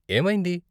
ఏమైంది?